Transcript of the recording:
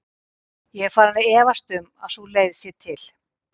Ég er farinn að efast um að sú leið sé til.